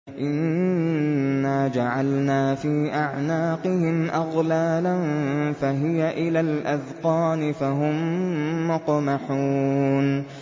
إِنَّا جَعَلْنَا فِي أَعْنَاقِهِمْ أَغْلَالًا فَهِيَ إِلَى الْأَذْقَانِ فَهُم مُّقْمَحُونَ